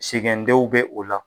Segɛndenw bɛ o la.